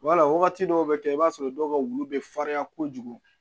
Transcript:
Wala wagati dɔw bɛ kɛ i b'a sɔrɔ dɔw ka wulu bɛ farinya kojugu